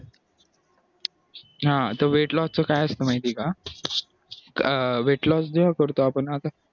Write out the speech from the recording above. हा तर weight loss च काय असतं माहितीये का weight loss जेव्हा करतो आता आपण